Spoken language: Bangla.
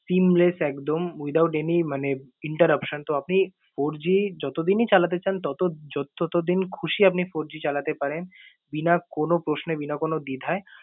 seemless একদম without any মানে interruption । তো আপনি four G যতদিন এই চালাতে চান তত~ য~ ততদিন খুশি আপনি four G চালাতে পারেন। বিনা কোনো প্রশ্নে, বিনা কোনো দিধায়।